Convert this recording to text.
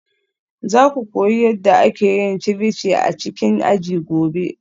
Za ku koyi yadda ake yin ceviche a cikin aji gobe?